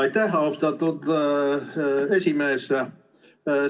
Aitäh, austatud esimees!